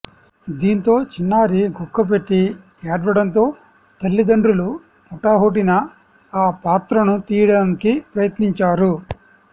దీంతో చిన్నారి గుక్కపెట్టి ఏడ్వడంతో తల్లిదండ్రులు హుటాహుటిన ఆ పాత్రను తీయడానికి ప్రయత్నించారు